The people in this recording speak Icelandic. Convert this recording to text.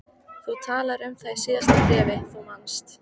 Þú talaðir um það í síðasta bréfi, þú manst.